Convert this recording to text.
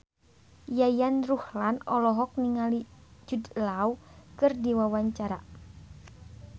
Yayan Ruhlan olohok ningali Jude Law keur diwawancara